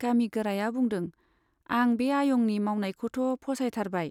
गामि गोराया बुंदों, आं बे आयंनि मावनायखौथ' फसायथारबाय।